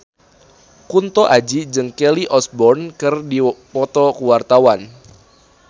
Kunto Aji jeung Kelly Osbourne keur dipoto ku wartawan